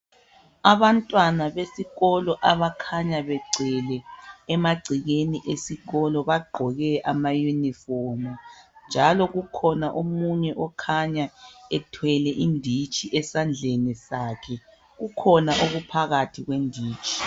Abantwana besikolo abakhanya begcwele emagcekeni esikolo bagqoke ama uniform njalo kulomunye okhanya wthwele inditshi esandleni sakhe. Kukhona okuphakathi kwenditshi.